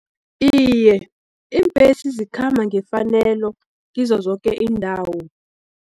Iye, iimbesi zikhamba ngefanelo, kizo zoke iindawo.